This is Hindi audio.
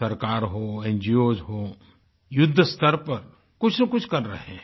सरकार होNGOs हो युद्ध स्तर पर कुछनाकुछ कर रहे हैं